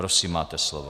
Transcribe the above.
Prosím, máte slovo.